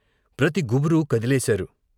ప్రతి గుబురూ కదలేశారు.